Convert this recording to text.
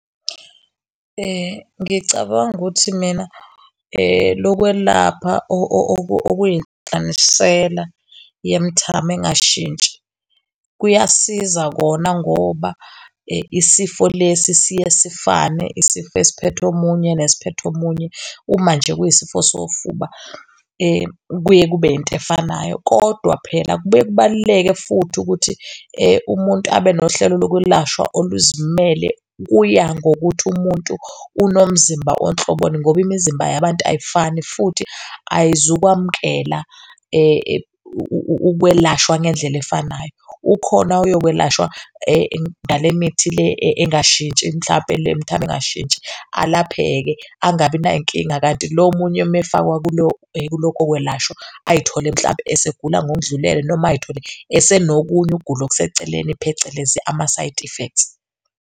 Ngicabanga ukuthi mina lokwelapha okuyinhlanganisela yemithamo engashintshi, kuyasiza kona ngoba isifo lesi siye sifane. Isifo esiphethe omunye nesiphethe omunye uma nje kuyisifo sofuba kuye kube into efanayo. Kodwa phela kubuye kubaluleke futhi ukuthi umuntu abe nohlelo lokwelashwa oluzimele. Kuya ngokuthi umuntu unomzimba onhloboni ngoba imizimba yabantu ayifani futhi ayizukwamukela ukwelashwa ngendlela efanayo. Ukhona oyokwelashwa ngale mithi le engashintshi mhlampe le mithamo engashintshi alapheke angabi nayinkinga. Kanti lo omunye, uma efakwa kulo kulokho kwelashwa ayithole, mhlampe esegula, ngokudlulele noma ayithole esenokunye, ukugula okuseceleni, phecelezi ama-side effects.